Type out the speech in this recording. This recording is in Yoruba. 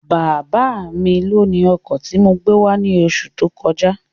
Bábá mi lóni ọkọ̀ tí mo gbé wá ní oṣù tó kọjá